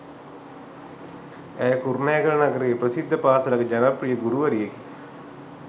ඇය කුරුණෑගල නගරයේ ප්‍රසිද්ධ පාසලක ජනප්‍රිය ගුරුවරියකි.